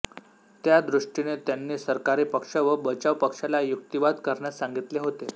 त्या दृष्टीने त्यांनी सरकारी पक्ष व बचाव पक्षाला युक्तिवाद करण्यास सांगितले होते